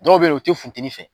Dɔw be yen nɔ u te funtenin fɛ